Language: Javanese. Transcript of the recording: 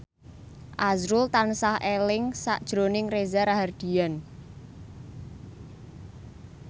azrul tansah eling sakjroning Reza Rahardian